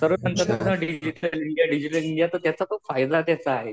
Digital India, digital India तर त्याचा पण फायदा आहे.